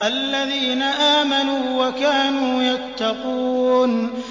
الَّذِينَ آمَنُوا وَكَانُوا يَتَّقُونَ